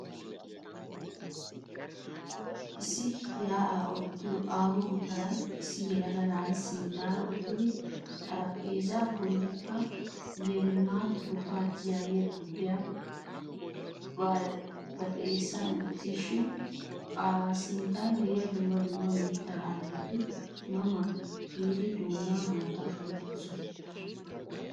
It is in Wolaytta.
Issi ya'aa oottiyo aaho gutaraan issi yelaga na'ay sinttara uttid xaraphpheezzaa bollikka 'ye lemat tirufat'yagiya xuufiya baxxanisi wottiis shine A sinttan de'iyaa dumma dumma mitta ayfet ma ma giidi doonan haattaa kunttoosona.